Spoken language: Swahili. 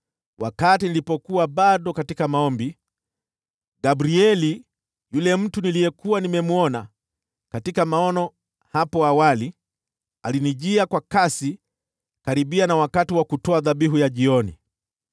wakati nilipokuwa bado katika maombi, Gabrieli, yule mtu niliyekuwa nimemwona katika maono hapo awali, alinijia kwa kasi karibu wakati wa kutoa dhabihu ya jioni.